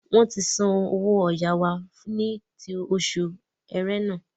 Wọn ǹ tí sanwó ọ̀yà wá ti oṣù ẹrẹ́nà